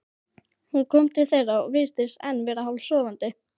Hún kom til þeirra og virtist enn vera hálfsofandi.